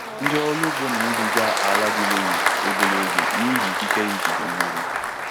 Ndị ọrụ ugbo na-iriga ala di loamy obere oge n'ihi ikike ya ijide mmiri.